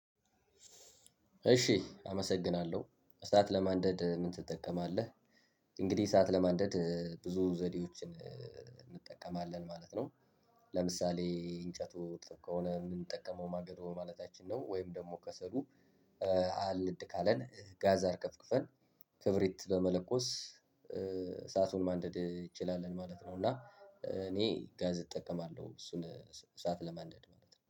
እሺ አመሰግናለሁ እሳት ለማንደድ ምን ትጠቀማለህ? እንግዲህ እሳት ለማንደድ ብዙ ዘዴዎችን እንጠቀማለን ማለት ነው። ለምሳሌ እንጨቱ እርጥብ ከሆነ የምንጠቀመው ማገዶ ማለታችን ነው ወይም ደግሞ ከሰሉ። አልነድ ካለን ጋዝ አርከፍክፈን ክብሪት በመለኮስ እሳቱን ማንደድ እንችላለን ማለት ነው። እና እኔ ጋዝ እጠቀማለሁ እሱን እሳት ለማንደድ ማለት ነው